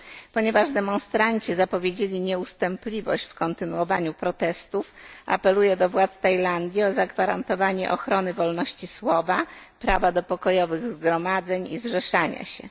Ponieważ demonstranci zapowiedzieli nieustępliwość w kontynuowaniu protestów, apeluję do władz Tajlandii o zagwarantowanie ochrony wolności słowa, prawa do pokojowych zgromadzeń i zrzeszania się.